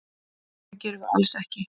Það gerum við alls ekki.